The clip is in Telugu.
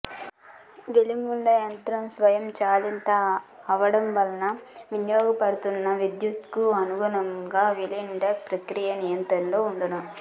వెల్డింగుయంత్రం స్వయం చాలితం అవ్వడం వలన వినియోగింపబడుతున్న విద్యుత్తుకు అనుగుణంగా వెల్డింగు ప్రక్రియ నియంత్రణలో వుండును